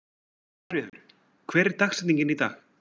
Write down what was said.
Svanfríður, hver er dagsetningin í dag?